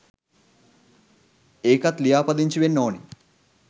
ඒකත් ලියාපදිංචි වෙන්න ඕන